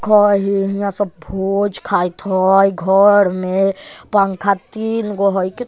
खाय हे हियां सब भोज खाएत हई घर में पंखा तीन गो हई क --